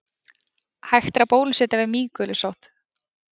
Hægt er að bólusetja við mýgulusótt.